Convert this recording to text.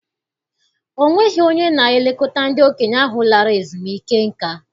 Ọ nweghị onye na-elekọta ndị okenye ahụ lara ezumike nka.